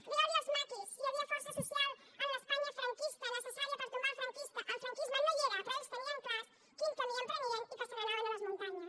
digueu los als maquis si hi havia força social en l’espanya franquista necessària per tombar el franquisme no hi era però ells tenien clar quin camí emprenien i que se n’anaven a les muntanyes